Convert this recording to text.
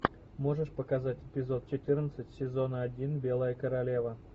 можешь показать эпизод четырнадцать сезона один белая королева